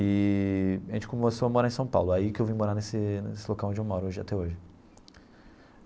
Eee a gente começou a morar em São Paulo, aí que eu vim morar nesse nesse local onde eu moro hoje até hoje.